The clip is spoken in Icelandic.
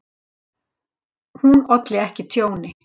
Hún olli ekki tjóni.